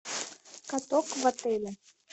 каток в отеле